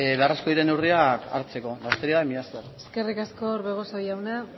beharrezkoak diren neurriak hartzeko besterik gabe mila esker eskerrik asko orbegozo jauna